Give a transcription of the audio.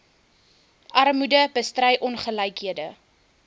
armoede bestry ongelykhede